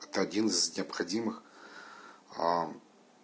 это один из необходимых